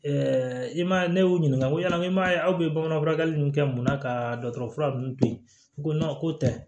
i ma ne y'u ɲininka ko ɲanama ye aw bɛ bamanan fura ninnu kɛ mun na ka dɔgɔtɔrɔ fura ninnu to yen u ko ko tɛ